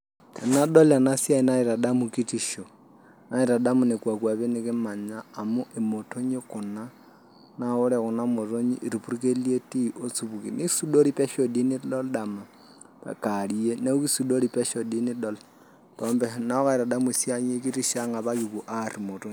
Tenadol ena siai naitadamu kitisho naitadamu nekua kwapi nikimanya amu imotonyi Kuna naa ore Kuna motonyi naa irpurkeli etii osupuki nisudori pesho doi nidol dama ata kewarie neeku kisudori oleng pesho doi nidol . Neeku kaitadamu esiai ekitisho ang apa kipuo aar imotonyi.